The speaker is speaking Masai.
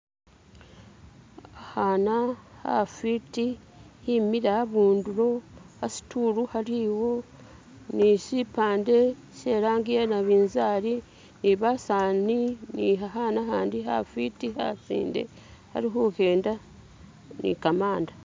Akhaana khafiti khimile khabundulo khasitulu khaliwo ni shipande she langi ye nabinzali ni basani ni khakhaana khandi khafiti khasinde khali khukenda ni kamaanda